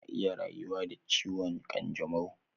Mutum na iya rayuwa da ciwon kanjamau